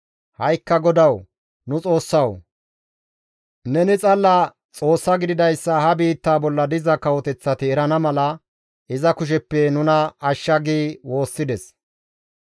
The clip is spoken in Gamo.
Ha7ikka GODAWU nu Xoossawu! Neni xalla Xoossa gididayssa ha biittaa bolla diza kawoteththati erana mala iza kusheppe nuna ashsha» gi woossides.